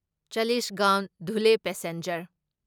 Chalisgaon Dhule passenger